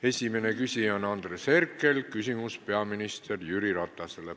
Esimene küsija on Andres Herkel ja küsimus on peaminister Jüri Ratasele.